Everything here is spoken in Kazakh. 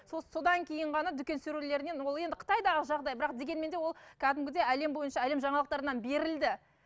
содан кейін ғана дүкен сөрелерінен ол енді қытайдағы жағдай бірақ дегенмен де ол кәдімгідей әлем бойынша әлем жаңалықтарынан берілді